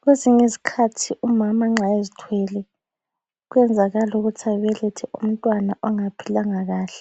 Kwezinye izikhathi umama nxa ezithwele kuyenzakala ukuthi abelethe umntwana ongaphilanga kahle,